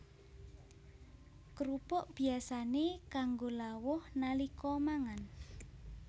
Krupuk biyasané kanggo lawuh nalika mangan